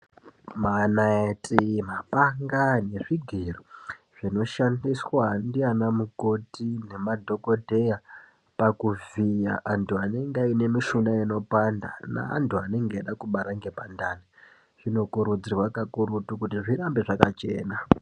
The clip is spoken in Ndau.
Manaiti, mapanga nezvigero zvinoshandiswa ndiana mukoti nemadhokodheya pakuvhiya antu, anenge aine mishuna inopanda. Neantu anenge aida kubara ngepandani zvinokurudzirwa kakurutu kuti zvirambe zvakachena.